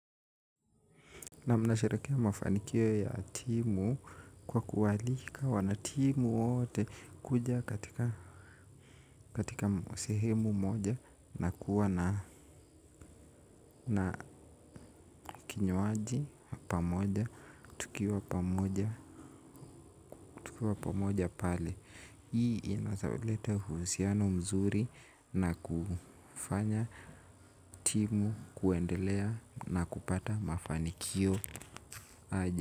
Naam nasherehekea mafanikio ya timu kwa kuwaalika wanatimu wote kuja katika sehemu moja na kuwa na na kinywaji pamoja tukiwa pamoja tukiwa pamoja pale. Hii inaweza leta uhusiano mzuri na kufanya timu kuendelea na kupata mafanikio aje.